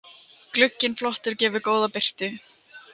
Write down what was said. Glugginn flottur, gefur góða birtu.